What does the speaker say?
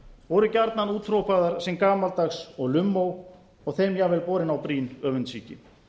voru gjarnan úthrópaðar sem gamaldags og lummó og þeim jafnvel borin á brýn öfundsýki